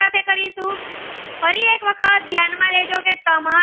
તમારે.